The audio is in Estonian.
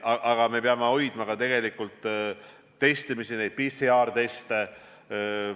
Samas me peame tegelikult neid PCR teste hoidma.